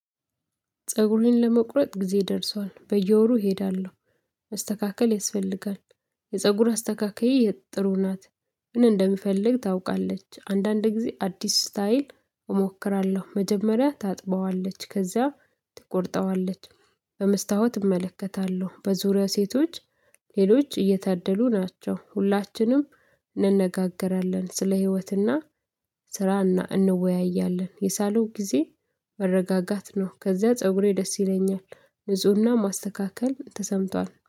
ፀጉሬን ለመቁረጥ ጊዜ ደርሷል በየወሩ እሄዳለሁ መስተካከል ያስፈልጋል የፀጉር አስተካካይ ጥሩ ናት። ምን እንደምፈልግ ታውቃለች አንዳንድ ጊዜ አዲስ ስታይል እሞክራለሁ። መጀመሪያ ታጥቧለች ከዛ ትቆርጧለች። በመስታወት እመለከታለሁ በዙሪያው ሴቶች ሌሎች እየታደሉ ናቸው ሁላችንም እንነጋገራለን። ስለ ህይወትና ስራ እንወያያለን የሳሎን ጊዜ መረጋጋት ነው። ከዚያ ፀጉሬ ደስ ይለኛል ንፁህና ማስተካከል ተሰምቷል